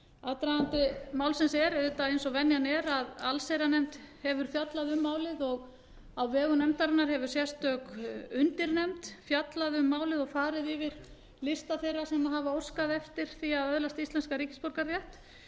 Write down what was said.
aðdragandi málsins er eins og venjan er allsherjarnefnd hefur fjallað um málið og á vegum nefndarinnar hefur sérstök undirnefnd fjallað um málið og farið yfir lista þeirra sem óskað hafa eftir því að öðlast íslenskan ríkisborgararétt